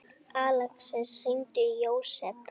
Alexis, hringdu í Jósep.